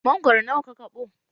Mangoro nawa ka kaɓo?